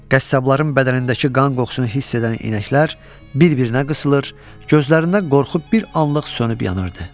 Qəssabların bədənindəki qan qoxusunu hiss edən inəklər bir-birinə qısılır, gözlərində qorxu bir anlıq sönüb yanırdı.